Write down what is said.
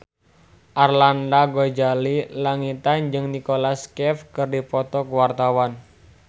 Arlanda Ghazali Langitan jeung Nicholas Cafe keur dipoto ku wartawan